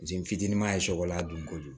Jɛn fitini ma ye shɛkɔlan don kojugu